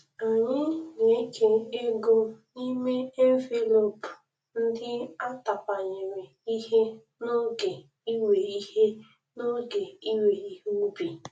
Amyị na-eke ego n'ime envelop ndị a tapanyere ihe n'oge iwe ihe n'oge iwe ihe ubi.